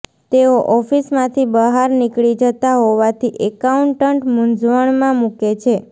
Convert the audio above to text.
તેઓ ઓફિસમાંથી બહાર નીકળી જતા હોવાથી એકાઉન્ટન્ટ મૂંઝવણમાં મૂકે છે